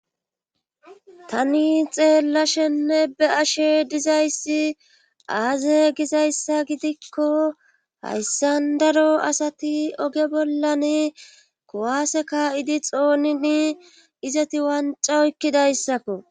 Tani xeella shenne be ashe dizayssi aaze gizayssa gidikko hayssan daro asati oge bollan kuwase ka7idi xoonini izati wanca oykkidayssakko